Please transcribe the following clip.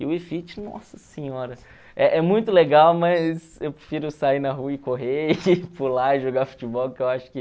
E o Wii Fit, nossa senhora, é é muito legal, mas eu prefiro sair na rua e correr, e pular, e jogar futebol, que eu acho que...